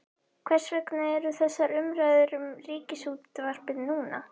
Hvers vegna eru þessar umræður um Ríkisútvarpið núna?